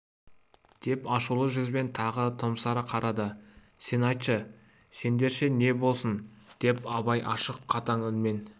деп ашулы жүзбен тағы томсара қарады сен айтшы сендерше не болсын деп абай ашық қатаң үнмен